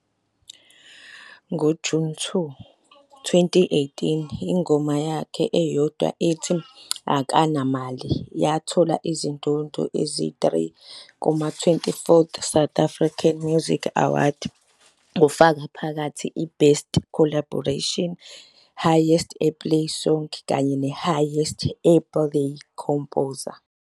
NgoJuni 2, 2018, ingoma yakhe eyodwa ethi "Akanamali" yamthola izindondo ezi-3 kuma- 24th South African Music Awards, kufaka phakathi iBest Collaboration, Highest Airplay Song kanye neHighest Airplay Composer.